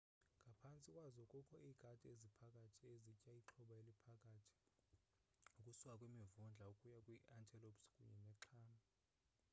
ngaphantsi kwazo kukho iikati eziphakathi ezitya ixhoba eliphakathi ukusuka kwimivundla ukuya kwi-antelopes kunye nexhama